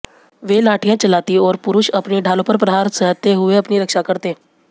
वे लाठियां चलातीं और पुरुष अपनी ढालों पर प्रहार सहते हुए अपनी रक्षा करते